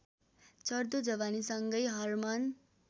चढ्दो जवानीसँगै हर्मन